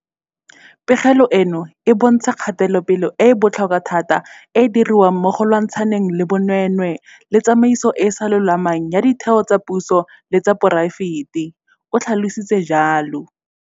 Pegelo eno e bontsha kgatelopele e e botlhokwa thata e e diriwang mo go lwantshaneng le bonweenwee le tsamaiso e e sa lolamang ya ditheo tsa puso le tsa poraefete, o tlhalositse jalo.